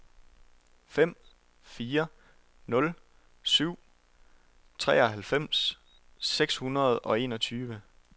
fem fire nul syv treoghalvfems seks hundrede og enogtyve